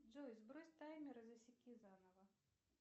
джой сбрось таймер и засеки заново